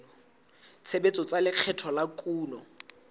tshebetso tsa lekgetho la kuno